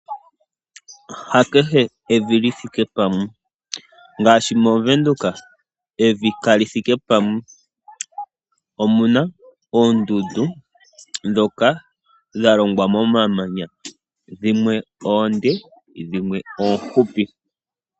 Ha kehe evi li thike pamwe ngaashi mOvenduka evi kali thike pamwe, omuna oondundu ndhoka dha longwa momamanya dhimwe oonde dhimwe oofupi.